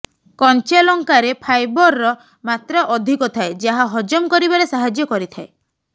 କଞ୍ଚାଲଙ୍କାରେ ଫାଇବାରର ମାତ୍ରା ଅଧିକ ଥାଏ ଯାହା ହଜମ କରିବାରେ ସାହାଯ୍ୟ କରିଥାଏ